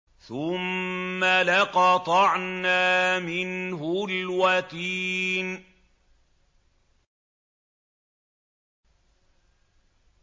ثُمَّ لَقَطَعْنَا مِنْهُ الْوَتِينَ